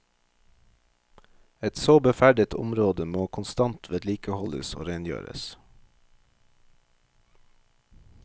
Et så beferdet område må konstant vedlikeholdes og rengjøres.